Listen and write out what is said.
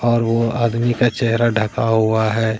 और वो आदमी का चेहरा ढका हुआ है।